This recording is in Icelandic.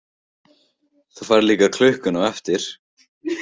Þú færð líka klukkuna á eftir.